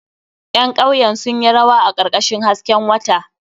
Ƴan kauyen sun yi rawa a karkashin hasken wata.